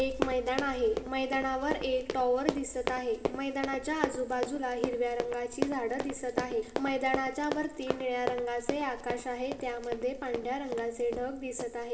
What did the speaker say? एक मैदान आहे. मैदानावर एक टावर दिसत आहे. मैदानाच्या आजू-बाजूला हिरव्या रंगाची झाड दिसत आहे. मैदानाच्या वर तीन निळा रंगाचे आकाश आहे. त्यामध्ये पांढर्‍या ढग दिसत आहे.